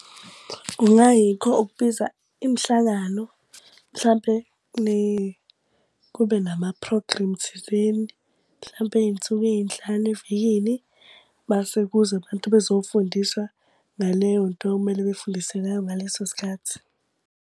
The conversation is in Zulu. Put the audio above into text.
Kungayikho ukubiza imihlangano, mhlampe kube nama-program thizeni. Mhlampe iy'nsuku ey'nhlanu evikini mase kuze abantu bezofundisa ngaleyo nto okumele befundise ngayo ngaleso sikhathi.